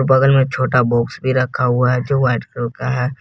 बगल में छोटा बॉक्स भी रखा हुआ है जो व्हाइट कलर का है।